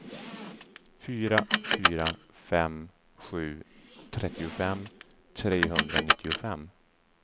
fyra fyra fem sju trettiofem trehundranittiofem